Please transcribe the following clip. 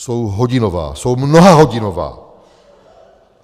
Jsou hodinová, jsou mnohahodinová.